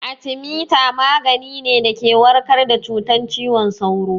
Atemita magani ne da ke warkar da cutar ciwon sauro